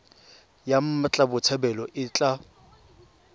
ya mmatla botshabelo e tla